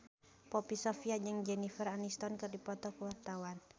Poppy Sovia jeung Jennifer Aniston keur dipoto ku wartawan